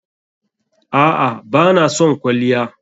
A'a bana son kwalliya.